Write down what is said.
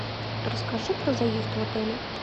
расскажи про заезд в отеле